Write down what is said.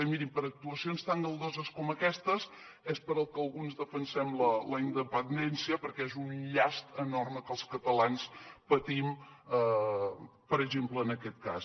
i mirin per actuacions tan galdoses com aquestes és pel que alguns defensem la independència perquè és un llast enorme que els catalans patim per exemple en aquest cas